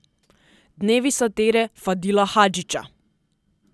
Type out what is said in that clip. Dnevi satire Fadila Hadžića.